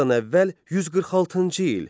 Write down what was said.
Eradan əvvəl 146-cı il.